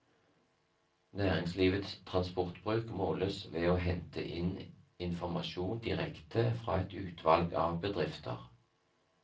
Næringslivets transportbruk måles ved å hente inn informasjon direkte fra et utvalg av bedrifter.